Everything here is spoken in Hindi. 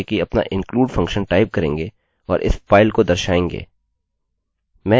हम क्या करेंगे कि अपना include फंक्शनfunction टाइप करेंगे और इस फाइल को दर्शाएँगे